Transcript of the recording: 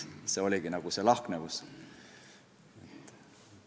Selline oligi lahknevus.